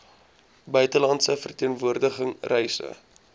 buitelandse verteenwoordiging reise